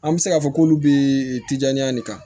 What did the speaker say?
An bɛ se k'a fɔ k'olu bɛ tijaɲa de ta